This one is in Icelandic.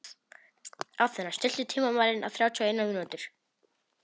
Athena, stilltu tímamælinn á þrjátíu og eina mínútur.